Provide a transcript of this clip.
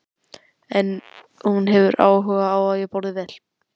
En hún hefur áhuga á að ég borði vel.